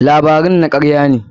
Labarun na karya ne.